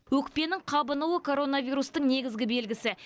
өкпенің қабынуы коронавирустың негізгі белгісі